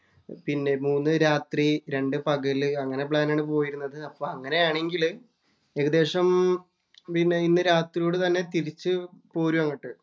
പിന്നെ മൂന്ന് രാത്രി, രണ്ട് പകല് അങ്ങനെ പ്ലാന്‍ ആണ് പോയിരുന്നത്. അപ്പോ അങ്ങനെയാണെങ്കില് ഏകദേശം പിന്നെ ഇന്ന് രാത്രിയോടെ തിരിച്ചുപോരും അങ്ങോട്ട്.